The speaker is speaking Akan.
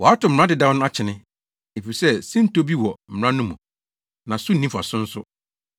Wɔatow mmara dedaw no akyene, efisɛ sintɔ bi wɔ mmara no mu, na so nni mfaso nso,